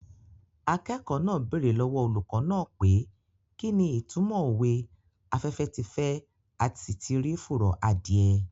Akẹ́kọ̀ọ́ náà bèrè lọ́wọ́ olùkọ́ náà pé kí ni ìtúmọ̀ òwe "afẹ́fẹ́ ti fẹ́ a sì ti rí fùrọ̀ adìẹ"